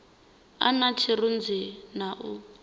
a na tshirunzi na u